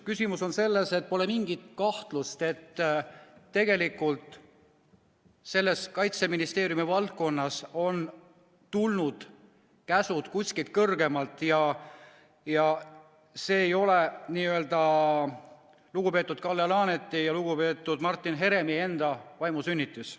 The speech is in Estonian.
Küsimus on selles, et pole mingit kahtlust, et tegelikult on Kaitseministeeriumi valdkonnas tulnud käsud kuskilt kõrgemalt ja see ei ole lugupeetud Kalle Laaneti ega lugupeetud Martin Heremi enda vaimusünnitus.